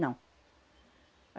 Não.